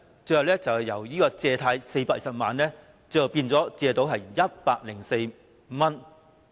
最後是原來借貸的420萬元，她只是收到104元。